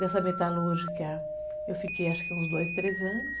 Nessa metalúrgica, eu fiquei acho que uns dois, três anos.